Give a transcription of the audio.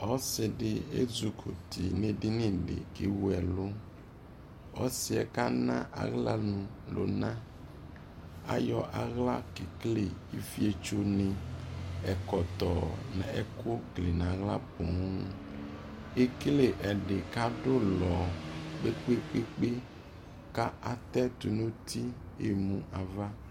ɔsii di ʒzukuti nʋ ʒdinidikʋ ʒwu ʒlʋʋ, ɔsiiʒ kana asii ʒlʋ lʋna, kʋ ayɔ ala kʒkʒlʒ ifiʒtʋni, ʒkɔtɔ nʋ ʒku kʒlʒʒ nʋ ala pɔɔɔmʒkʒlʒ ʒdini kʋ adʋ ʋlɔ kpekpekpe ku atʒ tʋnʋ uti yʒwii aɣa